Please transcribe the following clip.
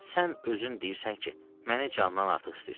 Sən özün deyirsən ki, məni candan artıq istəyirsən.